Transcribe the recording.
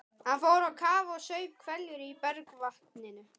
Hann fór á kaf og saup hveljur í bergvatninu.